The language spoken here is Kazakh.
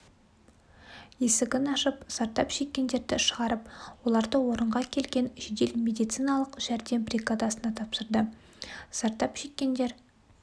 есігін ашып зардап шеккендерді шығарып оларды орынға келген жедел медициналық жәрдем бригадасына тапсырды зардап шеккендер